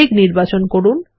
মেঘ নির্বাচন করুন